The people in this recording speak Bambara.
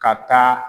Ka taa